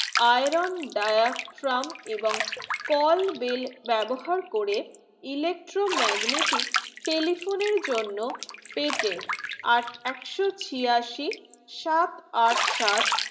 iron dryer from এবং call bell ব্যবহার করে electro magnetic telephone জন্য patent আট একশো ছিয়াশি সাত আট সাত